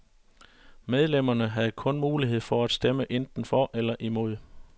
Medlemmerne havde kun mulighed for at stemme enten for eller imod.